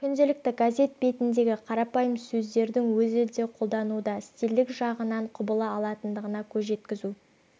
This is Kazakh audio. күнделікті газет бетіндегі қарапайым сөздердің өзі де қолдануда стильдік жағынан құбыла алатындығына көз жеткізу